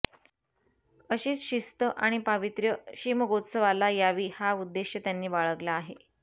अशीच शिस्त आणि पावित्र्य शिमगोत्सवाला यावी हा उद्देश त्यांनी बाळगला आहे